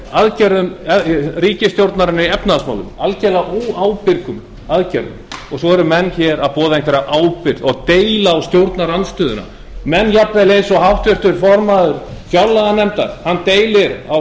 aðgerðum ríkisstjórnarinnar í efnahagsmálum algerlega óábyrgum aðgerðum svo eru menn hér að boða einhverja ábyrgð og deila á stjórnarandstöðuna maður jafnvel eins og háttvirtur formaður fjárlaganefndar deilir á